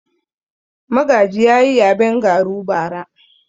Magaji ya yi yaben garu bara.